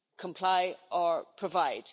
comply or provide.